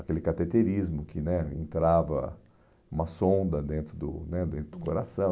Aquele cateterismo que né entrava uma sonda dentro do né dentro do coração.